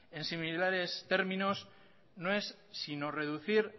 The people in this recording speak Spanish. en similares términos no es sino reducir